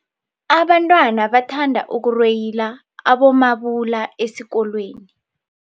Abantwana bathanda ukurweyila abomabula esikolweni.